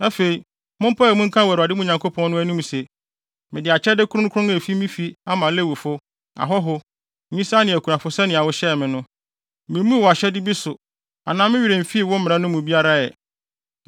Afei, mompae mu nka wɔ Awurade, mo Nyankopɔn no, anim se, “Mede akyɛde kronkron a efi me fi ama Lewifo, ahɔho, nyisaa ne akunafo sɛnea wohyɛɛ me no. Mimmuu wʼahyɛde bi so anaa me werɛ mfii wo mmara no mu biara ɛ.